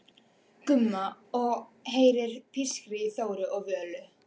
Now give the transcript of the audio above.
Gumma og heyrir pískrið í Þóru og Völu.